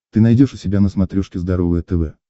ты найдешь у себя на смотрешке здоровое тв